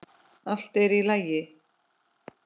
Allt er í lagi.